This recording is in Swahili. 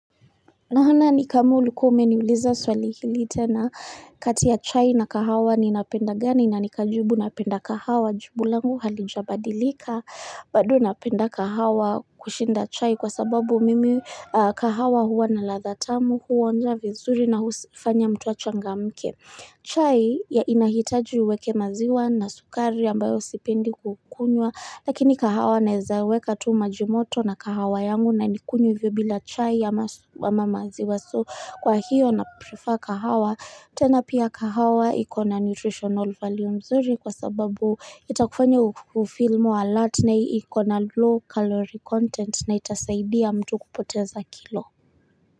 Nahona ni kama ulikuwa umeniuliza swali hili tena kati ya chai na kahawa ninapenda gani na nikajibu napenda kahawa jibu langu halijabadilika bado napenda kahawa kushinda chai kwa sababu mimi kahawa huwa na ladha tamu huonja vizuri na usifanya mtu achangamke chai ya inahitaji uweke maziwa na sukari ambayo sipendi kukunywa Lakini kahawa naeza weka tu maji moto na kahawa yangu na nikunywe hivyo bila chai ya mama maziwa So kwa hiyo na prefer kahawa tena pia kahawa ikona nutritional value mzuri kwa sababu itakufanya ufeel more alert na ikona low calorie content na itasaidia mtu kupoteza kilo.